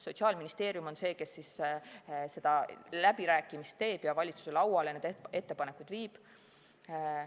Sotsiaalministeerium on see, kes neid läbirääkimisi peab ja valitsuse lauale nende ettepanekuid viib.